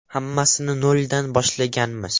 Hammasini noldan boshlaganmiz.